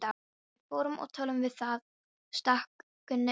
Við förum og tölum við þá, stakk Gunni upp á.